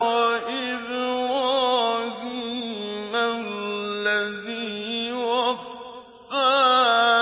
وَإِبْرَاهِيمَ الَّذِي وَفَّىٰ